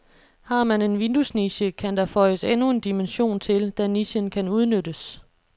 Har man en vinduesniche, kan der føjes endnu en dimension til, da nichen kan udnyttes.